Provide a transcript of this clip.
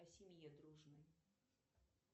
о семье дружной